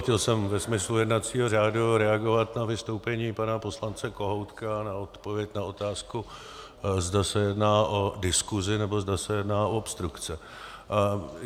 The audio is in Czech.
Chtěl jsem ve smyslu jednacího řádu reagovat na vystoupení pana poslance Kohoutka, na odpověď na otázku, zda se jedná o diskuzi, nebo zda se jedná o obstrukce.